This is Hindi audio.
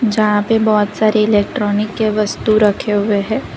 जहां पे बहुत सारी इलेक्ट्रोनिक के वस्तु रखे हुए है।